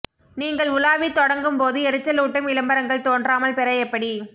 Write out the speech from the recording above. நீங்கள் உலாவி தொடங்கும் போது எரிச்சலூட்டும் விளம்பரங்கள் தோன்றாமல் பெற எப்படி